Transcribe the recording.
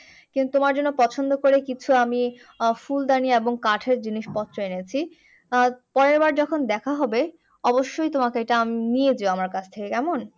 কিন্তু তোমার জন্য পছন্দ করে কিছু আমি আহ ফুলদানি এবং কাঠের জিনিসপত্র এনেছি আহ পরেরবার দেখা হবে অবশ্যই তোমাকে এটা নিয়ে যেও আমার কাছ থেকে কেমন।